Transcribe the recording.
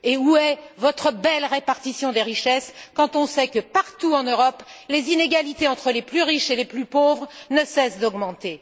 Où est votre belle répartition des richesses quand on sait que, partout en Europe, les inégalités entre les plus riches et les plus pauvres ne cessent d'augmenter?